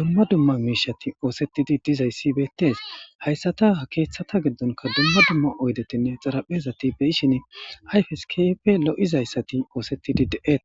dumma dumma miishatidi dizayssi beteesi. Hayssata ha keethata giddonkka dumma dumma oyddetane xatapheta be'ishin ayfesi keehippe lo'izayssati oosetidi de'etesi.